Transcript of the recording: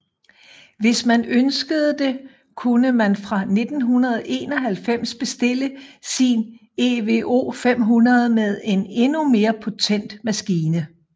Hvis man ønskede det kunne man fra 1991 bestille sin EVO 500 med en endnu mere potent maskine